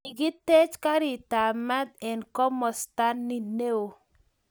kigitech karitab maat eng komosta ni neoo